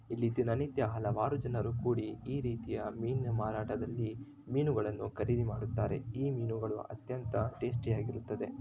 ಇಲ್ಲಿ ದಿನನಿತ್ಯ ಹಲವಾರು ಜನರು ಕೂಡಿ ಈ ರೀತಿಯ ಮೀನಿನ ಮಾರಾಟದಲ್ಲಿ ಮೀನುಗಳನ್ನು ಖರೀದಿ ಮಾಡುತ್ತಾರೆ ಈ ಮೀನುಗಳು ಅತ್ಯಂತ ಟೇಸ್ಟಿ ಆಗಿರುತ್ತದೆ.